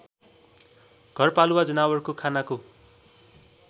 घरपालुवा जनावरको खानाको